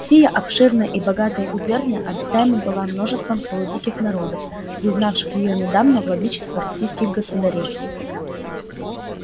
сия обширная и богатая губерния обитаема была множеством полудиких народов признавших её недавно владычество российских государей